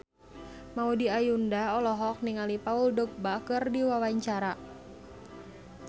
Maudy Ayunda olohok ningali Paul Dogba keur diwawancara